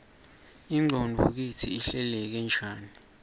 ingqondvo kitsi ihleleke njani